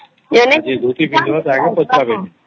ଯିଏ ଝୋତି ପିନ୍ଧିଥିବ ତାକୁ ପଚାରିବେନି